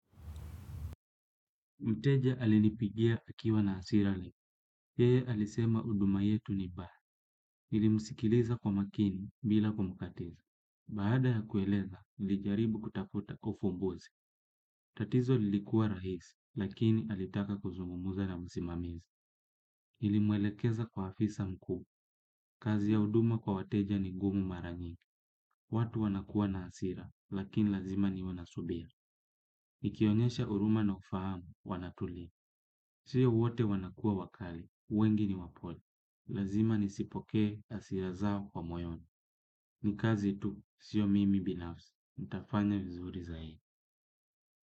Mteja alinipigia akiwa na hasira leo yeye alisema huduma yetu ni baya. Nilimsikiliza kwa makini bila kumkatiza. Baada ya kueleza, nilijaribu kutafuta kwa ufumbuzi. Tatizo lilikuwa rahisi, lakini alitaka kuzungumza na msimamizi. Nilimwelekeza kwa afisa mkuu. Kazi ya huduma kwa wateja ni gumu mara nyingi. Watu wanakuwa na hasira, lakini lazima niwe na subira. Nikionyesha huruma na ufahamu, wanatulia. Sio wote wanakuwa wakali. Wengi ni wapole, lazima nisipokee hasira zao kwa moyoni, ni kazi tu, sio mimi binafsi, nitafanya vizuri zaidi.